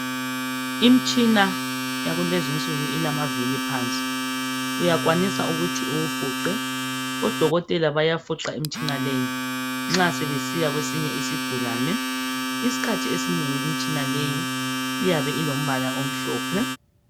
Imtshina yakulezi nsuku ilama vili phansi .Uyakwanisa ukuthi uwufuqe . Odokotela bayafuqa Imtshina leyi nxa sebesiya kwesinye isigulane. Iskhathi esinengi imtshina leyi iyabe ilombala omhlophe .